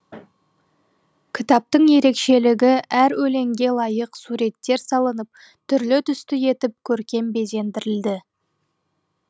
кітаптың ерекшелігі әр өлеңге лайық суреттер салынып түрлі түсті етіп көркем безендірілді